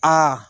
Aa